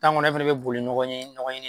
ŋɔnɔ e fɛnɛ be boli ɲɔgɔn ye nɔgɔ ɲini